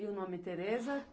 E o nome Tereza?